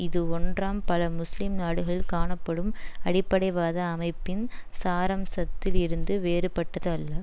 இது ஒன்றாம் பல முஸ்லிம் நாடுகளில் காணப்படும் அடிப்படைவாத அமைப்பின் சாரம்சத்தில் இருந்து வேறுபட்டது அல்ல